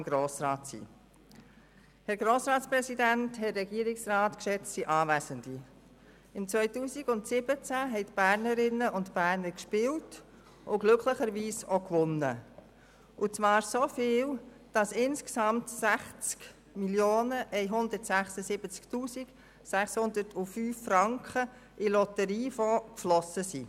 Im Jahr 2017 haben die Bernerinnen und Berner gespielt und glücklicherweise auch gewonnen, und zwar so viel, dass insgesamt 60 176 605 Franken in den Lotteriefonds geflossen sind.